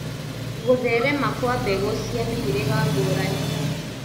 Gũtherema Kwa mbegũ cia mĩhĩrĩga ngũrani